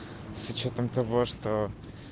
с учётом того что